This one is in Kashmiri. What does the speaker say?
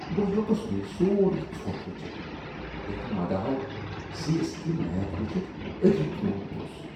بہٕ ہیوٚکُس نہٕ یہ سورُے ژھۄٹھ وٕچھتھ یَتھ مداحو سی ایس کے میچ ؤچھتھ أتی ترٛوومت اوس۔